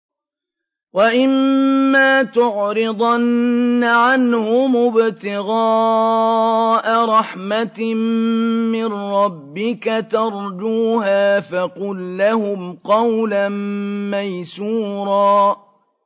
وَإِمَّا تُعْرِضَنَّ عَنْهُمُ ابْتِغَاءَ رَحْمَةٍ مِّن رَّبِّكَ تَرْجُوهَا فَقُل لَّهُمْ قَوْلًا مَّيْسُورًا